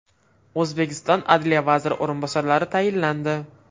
O‘zbekiston Adliya vaziri o‘rinbosarlari tayinlandi.